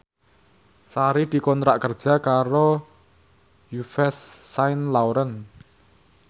Sari dikontrak kerja karo Yves Saint Laurent